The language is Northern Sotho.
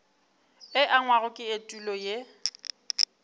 e angwago ke etulo ye